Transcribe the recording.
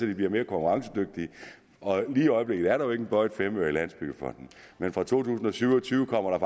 de bliver mere konkurrencedygtige lige i øjeblikket er der jo ikke en bøjet femøre i landsbyggefonden men fra to tusind og syv og tyve kommer der